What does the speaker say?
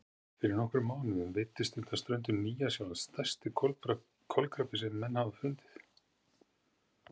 Fyrir nokkrum mánuðum veiddist undan ströndum Nýja-Sjálands stærsti kolkrabbi sem menn hafa fundið.